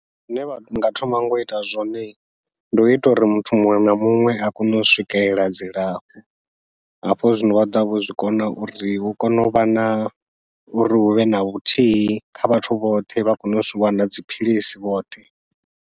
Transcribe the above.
Zwine vhanga thoma nga uita zwone, ndi uita uri muthu muṅwe na muṅwe a kone u swikelela dzilafho, hafho zwino vha ḓovha vho zwi kona uri hu kone uvha na uri huvhe na vhuthihi kha vhathu vhoṱhe vha kone u zwi wana dziphilisi vhoṱhe.